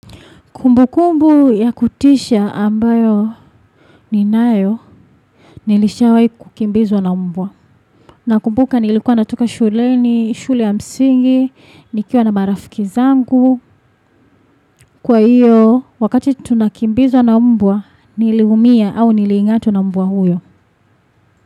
Kumbukumbu ya kutisha ambayo ninayo, nilishawahi kukimbizwa na mbwa. Nakumbuka nilikuwa natoka shuleni, shule ya msingi, nikiwa na marafiki zangu. Kwa hiyo, wakati tunakimbizwa na mbwa, niliumia au niling'atwa na mbwa huyo.